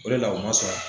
O de la o ma sɔrɔ